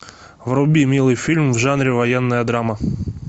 вруби милый фильм в жанре военная драма